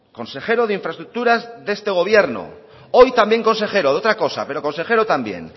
consejero de infraestructuras de este gobierno hoy también consejero de otra cosa pero consejero también